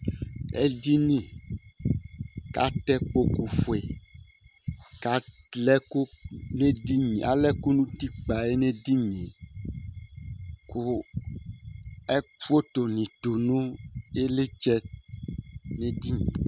Edini kʋ atɛ ikpoku fʋe kʋ alɛ ɛkʋ nʋ ʋtikpa yɛ nʋ edini ye kʋ foto ni kɔ nʋ iɣili nʋ edini ye